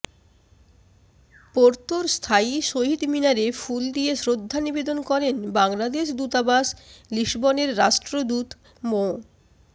পোর্তোর স্থায়ী শহীদ মিনারে ফুল দিয়ে শ্রদ্ধা নিবেদন করেন বাংলাদেশ দূতাবাস লিসবনের রাষ্ট্রদূত মো